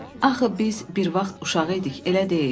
"Axı biz bir vaxt uşaq idik, elə deyil?"